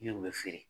Ne kun bɛ feere